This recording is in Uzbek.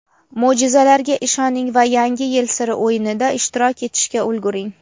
Mo‘jizalarga ishoning va "Yangi yil siri" o‘yinida ishtirok etishga ulguring.